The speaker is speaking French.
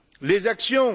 Les actions?